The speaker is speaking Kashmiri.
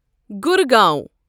گُرگاوں